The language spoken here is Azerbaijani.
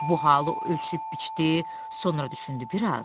Bu halı ölçüb-biçdi, sonra düşündü biraz.